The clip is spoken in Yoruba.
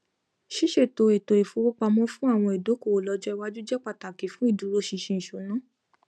ṣíṣètò ètò ifowópamọ fún àwọn ìdókòwò lọjọ iwaju jẹ pàtàkì fún ìdúróṣinṣin ìṣúná